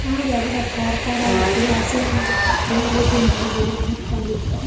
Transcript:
ಹಾ ರೀ ಅದ್ರ ಖಾರ್ ಖಾರ ಹಾಕಿ ಹಸೆ ಎಣ್ಣಿ ಹಾಕಿ ರುಬ್ಬಿ ಮಾಡಿದ್ವಿ ರೀ ಮಸ್ತ್ ಆಗೀತ್.